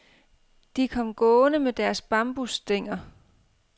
De kom gående med deres bambusstænger.